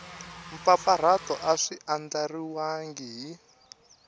mpfapfarhuto a swi andlariwangi hi